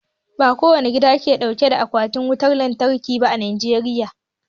Ba kowane gida bane ke dauke da Akwatin wutar lantarki ba a Najeriya